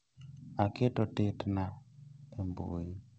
Aketo tetna e mbui